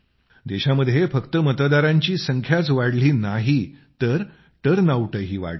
देशामध्ये फक्त मतदारांची संख्याच वाढली नाही तर टर्नआउटही वाढला आहे